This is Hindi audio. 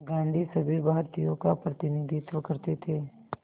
गांधी सभी भारतीयों का प्रतिनिधित्व करते थे